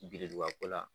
Biriduga ko la